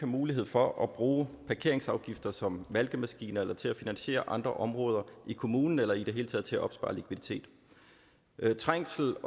mulighed for at bruge parkeringsafgifter som malkemaskiner til at finansiere andre områder i kommunen eller i det hele taget til at opspare likviditet trængsel